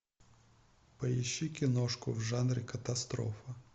поищи киношку в жанре катастрофа